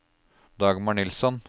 Dagmar Nilsson